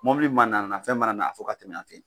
Mobili mana na fɛn mana na a fo k'a tɛmɛ yan fɛ yen.